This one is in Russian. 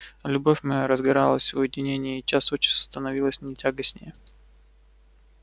любовь моя разгоралась в уединении и час от часу становилась мне тягостнее